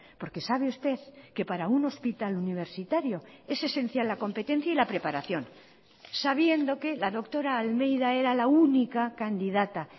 porque sabe usted que para un hospital universitario es esencial la competencia y la preparación sabiendo que la doctora almeida era la única candidata